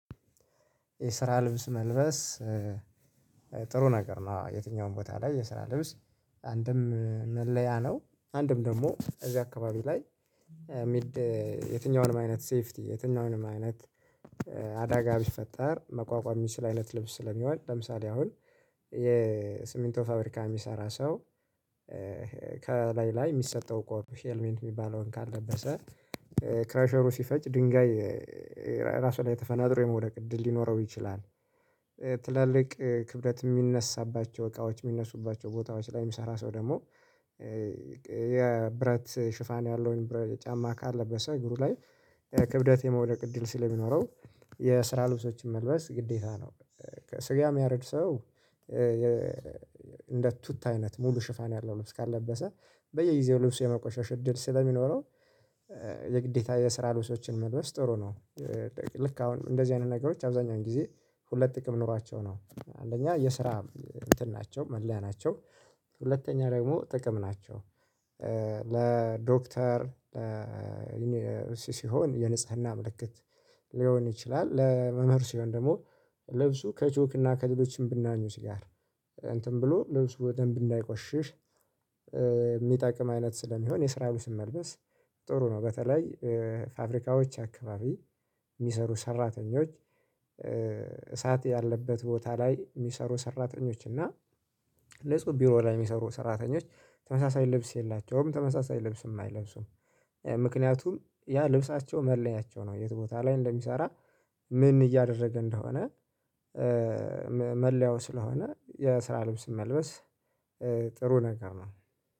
የስራ ልብስ መልበስ። ጥሩ ነገር ነው የትኛውም ቦታ ላይ የስራ ልብስ አንድም መለያ ነው አንድም ደግሞ እዚህ አካባቢ ላይ። የሚል የትኛውንም አይነት ሴፍቲ የትኛውንም አይነት። አደጋ ቢፈጠር መቋቋም የሚችል አይነት ልብስ ስለሚሆንል ለምሳሌ አሁን የስምንቶ ፋብሪካ የሚሰራ ሰው። ከላይ ላይ የሚሰጠው ሄልሜንት የሚባለውን ካልለበሰ ክራሸሩ ሲፈጭ ድንጋይ። ራሱ ላይ ተፈናጥሮ የመውደቅ እድል ሊኖረው ይችላል። ትላልቅ ክብደት የሚነሳባቸው እቃዎች የሚነሱባቸው ቦታዎች ላይ የሚሰራ ሰው ደግሞ። የብረት ሽፋን ያለውን ብረት ጫማ ካለበት ሰው እግሩ ላይ የክብደት የመውደቅ እድል ስለሚኖረው የስራ ልብሶችን መልበስ ግዴታ ነው። ከስጋ የሚያረድ ሰው። እንደ ቱታ አይነት ሙሉ ሽፋን ያለው ልብስ ካልለበሰ በየጊዜው ልብስ የመቆሸሽ እድል ስለሚኖረው። የግዴታ የስራ ልብሶችን መልበስ ጥሩ ነው። ልክ አሁን እንደዚህ አይነት ነገሮች አብዛኛውን ጊዜ ሁለት ጥቅም ኖሯቸው ነው አንደኛ የስራ እንትን ናቸው መለያ ናቸው። ሁለተኛ ደግሞ ጥቅም ናቸው። ለዶክተር ሲሆን የንጽህና ምልክት። ሊሆን ይችላል ለመምህር ስሆን ደግሞ ልብሱ ከቾክና ከድሎችም ብናኙ ሲጋር እንትን ብሎ ልብሱ ደንብ እንዳይቆሽሽ። የሚጠቅም አይነት ስለሚሆን የስራው ልብስ መልበስ ጥሩ ነው። በተለይ ፋብሪካዎች አካባቢ የሚሰሩ ሰራተኞች። እሳት ያለበት ቦታ ላይ የሚሰሩ ሰራተኞች እና ንጹ ቢሮ ላይ የሚሰሩ ሰራተኞች ተመሳሳይ ልብስ የላቸውም ተመሳሳይ ልብስም አይለብሱም። ምክንያቱም ያ ልብሳቸው መለያቸው ነው የት ቦታ ላይ እንደሚሰራ ምን እያደረገ እንደሆነ። መለያው ስለሆነ የስራ ልብስ መልበስ ጥሩ ነገር ነው